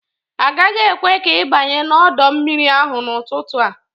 Agaghị ekwe ka ị banye n'ọdọ mmiri ahụ n'ụtụtụ a.